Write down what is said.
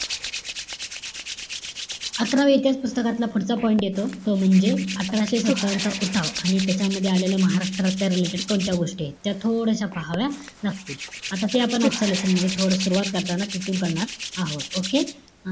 अकरावी याचाच पुस्तकातला पुढचा point येतो. तो म्हणजे अठराशे सत्तावन्न चा उठाव. आणि त्याच्यामध्ये आलेलं महाराष्ट्राच्या related कोणत्या गोष्टीयेत. त्या थोड्याश्या पाहाव्या लागतील. आता ते आपण आजच्या lesson मध्ये थोडं सुरवात करताना इथून करणार आहोत. Okay?